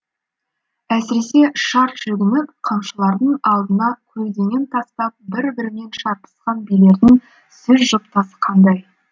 әсіресе шарт жүгініп қамшыларын алдына көлденең тастап бір бірімен шарпысқан билердің сөз жұптасы қандай